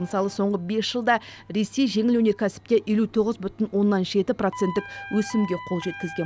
мысалы соңғы бес жылда ресей жеңіл өнеркәсіпте елу тоғыз бүтін оннан жеті проценттік өсімге қол жеткізген